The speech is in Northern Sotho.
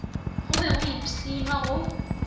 go be go ipshinwa go